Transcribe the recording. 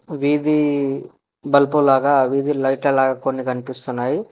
వీధి బలుపు లాగా వీధిలైట్ ఎలా కొన్ని కనిపిస్తున్నాయి.